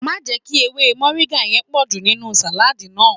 Má jẹ́ kí ewé mọ̀ríńgà yẹn pọ̀jù nínú sàládì náà